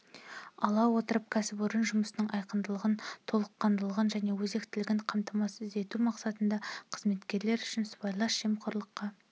ала отырып кәсіпорын жұмысының айқындығын толыққандылығын және өзектілігін қамтамасыз ету мақсатында қызметкерлер үшін сыбайлас жемқорлыққа